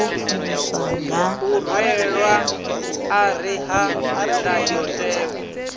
u rwelwa ṱari ha ndayotewa